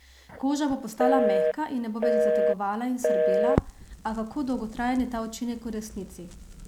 Koža bo postala mehka in ne bo več zategovala in srbela, a kako dolgotrajen je ta učinek v resnici?